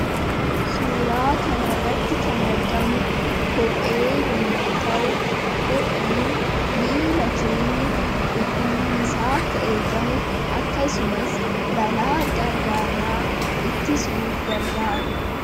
Suuraa kanarratti kan argamu kophee yoommu ta'u kopheen miila keenya qulqullinnisaa akka eegamu akkasumas balaa adda addaarraa ittisuuf gargaara.